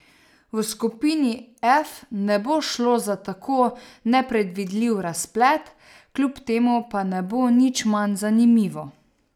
V skupini F ne bo šlo za tako nepredvidljiv razplet, kljub temu pa ne bo nič manj zanimivo.